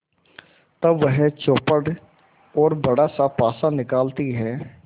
तब वह चौपड़ और बड़ासा पासा निकालती है